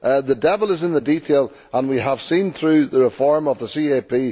The devil is in the detail, as we have seen through the reform of the CAP.